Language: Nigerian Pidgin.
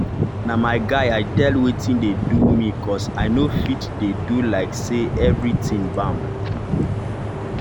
na my guy i tell wetin dey do me cos i nor fit dey do like say everything bam